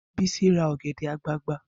Bisi ra ọ̀gẹ̀dẹ̀ àgbagbà